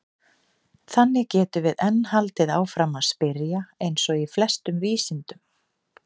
Þannig getum við enn haldið áfram að spyrja eins og í flestum vísindum!